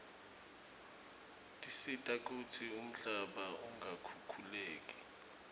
tisita kutsi umhlaba ungakhukhuleki